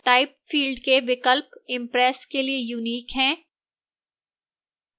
type field के विकल्प impress के लिए unique हैं